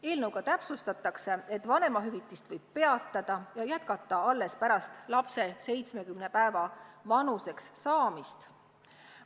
Eelnõuga täpsustatakse, et vanemahüvitise maksmist võib peatada ja jätkata alles pärast lapse 70 päeva vanuseks saamist.